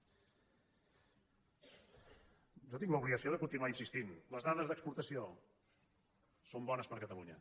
jo tinc l’obligació de continuar insistint·hi les dades d’exportació són bones per a catalunya